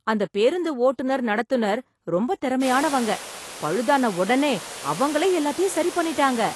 அந்த பேருந்து ஓட்டுநர் நடத்துநர் ரொம்ப திறமையானவங்க. பழுதான உடனே அவங்களே எல்லாத்தையும் சரி பண்ணிட்டாங்க.